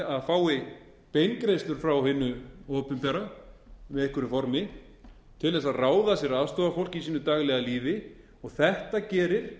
það fái beingreiðslur frá hinu opinbera í einhverju formi til að ráða sér aðstoðarfólk í sínu daglega lífi og þetta gerir